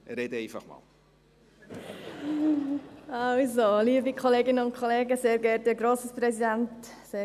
Sprechen Sie als Mitmotionärin, Grossrätin Beutler?